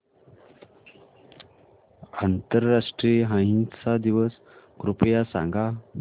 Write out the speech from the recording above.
आंतरराष्ट्रीय अहिंसा दिवस कृपया सांगा